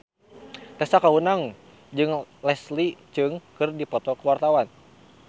Tessa Kaunang jeung Leslie Cheung keur dipoto ku wartawan